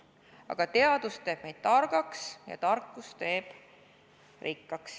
Aga teadus teeb meid targaks ja tarkus teeb rikkaks.